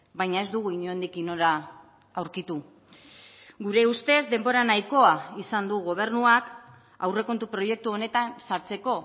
baina ez dugu inondik inora aurkitu gure ustez denbora nahikoa izan du gobernuak aurrekontu proiektu honetan sartzeko